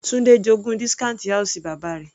Tunde j'ogún discount house bàbá rẹ̀.